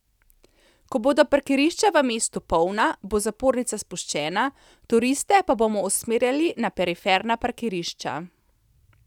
Ko bodo parkirišča v mestu polna, bo zapornica spuščena, turiste pa bomo usmerjali na periferna parkirišča.